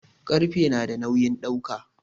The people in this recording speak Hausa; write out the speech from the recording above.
Ƙarfe nada nawin dauka